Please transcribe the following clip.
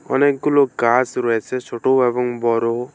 অনেকগুলো গাছ রয়েছে ছোট এবং বড়ো।